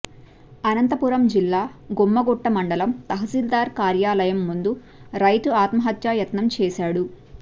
అనంతపురం జిల్లా గుమ్మగుట్ట మండలం తహశీల్దార్ కార్యాలయం ముందు రైతు ఆత్మహత్యాయత్నం చేశాడు